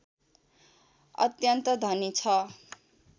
अत्यन्त धनी छ